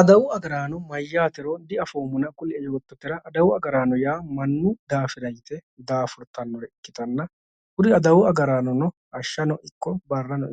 adawu agaraano mayyatero diafoommo kulie yoottotera adawu agaraano yaa mannu daafira yite daafurtannoha ikkitanna kuri adawu agaraano hashshano barrano